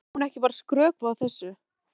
Það er ofmælt, sagði Ari dræmt.